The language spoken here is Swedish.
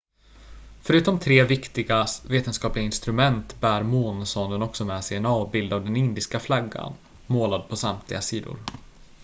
förutom tre viktiga vetenskapliga instrument bär månsonden också med sig en avbild av den indiska flaggan målad på samtliga sidor